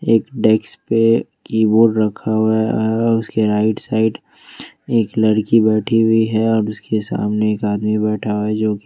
एक डेस्क पे कीबोर्ड रखा हुआ है उसके राइट साइड एक लड़की बैठी हुई है और उसके सामने एक आदमी बैठा है जो की--